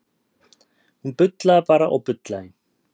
Hún bullaði bara og bullaði.